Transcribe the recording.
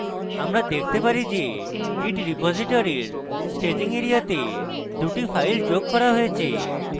আমরা দেখতে পারি যে git repository এর staging এরিয়াতে দুটি files যোগ করা হয়েছে